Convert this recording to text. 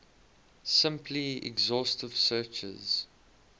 simple exhaustive searches